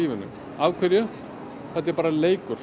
þetta er bara leikur